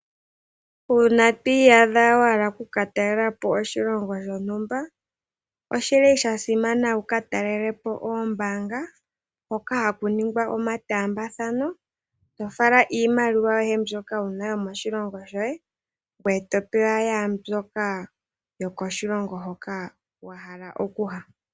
Uuna to iyadha wa hala oku ka talelapo oshilongo shontumba, oshili sha simana wuka talelepo oombaanga, hoka haku ningwa omataambathano, to fala iimaliwa yoye mbyoka wuna womoshilongo shoye, ngoye to pewa mbyoka yokoshilongo hoka wa hala okuya.